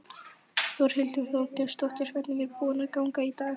Þórhildur Þorkelsdóttir: Hvernig er búið að ganga í dag?